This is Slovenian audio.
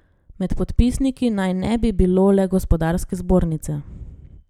Med podpisniki naj ne bi bilo le gospodarske zbornice.